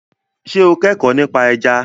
Ṣé o kẹ́kọ̀ọ́ nípa ẹja?